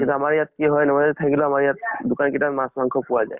কিন্তু আমাৰ ইয়াত কি হয় নবৰাত্ৰী থাকিলেও আমাৰ ইয়াত দোকান কিটাত মাছ মাংস পোৱা যায়